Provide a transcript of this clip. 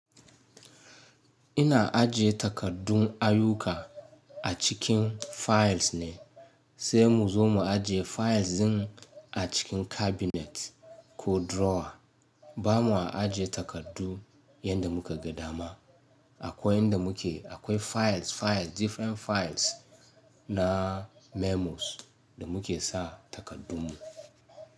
Ina ajiye takaddun ayyuka a cikin files ne, sai muzo mu ajiye files din a cikin cabinet ko drawer. Bamu ajiye takardu yadda muka ga dama. Akwai yanda muke, akwai files,-- files, different files na memos da muke sa takardun mu.